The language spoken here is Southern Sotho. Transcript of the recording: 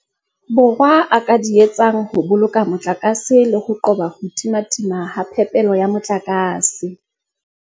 Borwa a ka di etsang ho boloka motlakase le ho qoba ho timatima ha phepelo ya motlakase.